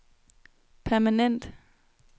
permanent